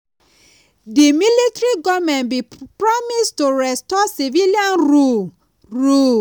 di military goment bin promise to restore civilian rule. rule.